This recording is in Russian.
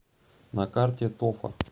на карте тофа